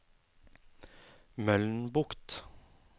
Mølnbukt